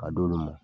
A d'olu ma